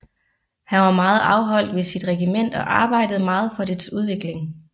Han var meget afholdt ved sit regiment og arbejdede meget for dets udvikling